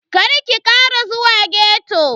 Karki Kara zuwa ghetto.